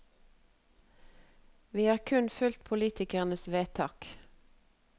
Vi har kun fulgt politikernes vedtak.